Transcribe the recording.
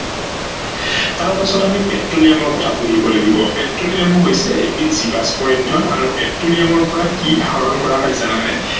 তাৰ পাছত আমি পেট্ৰলিয়ামৰ কথা বুলিব লাগিব। পেট্ৰলিয়ামো হৈছে এবিধ জীৱাস্ম ইন্ধন আৰু পেট্ৰলিয়ামৰ পৰা কি আহৰন কৰা হয় জানানে